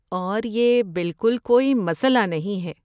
اور یہ بالکل کوئی مسئلہ نہیں ہے۔